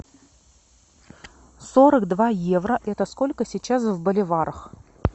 сорок два евро это сколько сейчас в боливарах